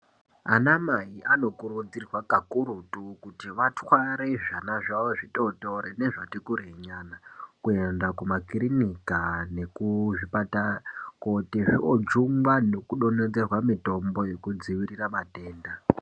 Ana Mai anokurudzirwe kakurutu kuti vatwate zvvana zvavo zvitotori nezvati kurei nyana kuenda kumakirinika nekuzvipatara kooti zvoojungwa nekudonhedzerwa mitombo yekudzivirira matenda.